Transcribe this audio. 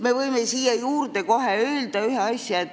Me võime siia juurde kohe öelda ühe asja.